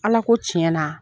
Ala ko tiɲɛna